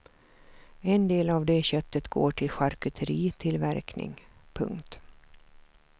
En del av det köttet går till charkuteritillverkning. punkt